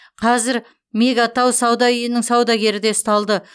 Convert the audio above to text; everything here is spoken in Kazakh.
қазір мега тау сауда үйінің саудагері де ұсталды